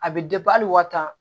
A bɛ hali wa tan